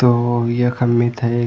तो यखम मिथे एक।